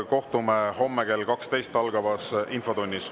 Kohtume homme kell 12 algavas infotunnis.